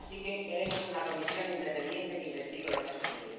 así que queremos una comisión independiente que investigue lo que ha sucedido.